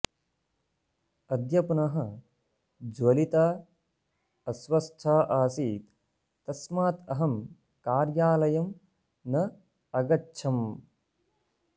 अद्य पुनः ज्वलिता अस्वस्था आसीत् तस्मात् अहं कार्यालयं न अगच्छम्